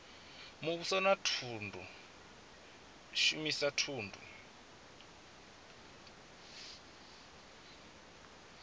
muvhuso na u shumisa thundu